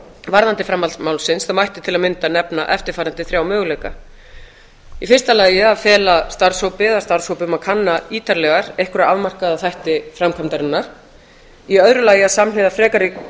varðandi framhald málsins þá mætti til að mynda nefna eftirfarandi þrjá möguleika fyrstu að fela starfshópi eða starfshópum að kanna ítarlega einhverja afmarkaða þætti framkvæmdarinnar annað að samhliða frekari